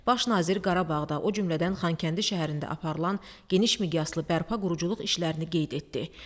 Baş nazir Qarabağda, o cümlədən Xankəndi şəhərində aparılan geniş miqyaslı bərpa-quruculuq işlərini qeyd etdi.